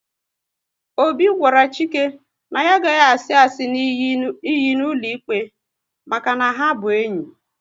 Obi gwara Chike na ya agaghi asi asị n'iyi n'ụlọikpe maka na ha bụ enyi